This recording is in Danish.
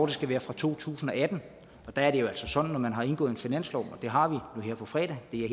skal være fra to tusind og atten og der er det jo altså sådan når man har indgået en finanslov og det har vi nu her på fredag det er